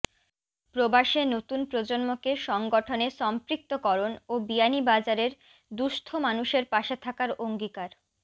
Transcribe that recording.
প্রবাসে নতুন প্রজন্মকে সংগঠনে সম্পৃক্ত করণ ও বিয়ানীবাজারের দুঃস্থ মানুষের পাশে থাকার অঙ্গিকার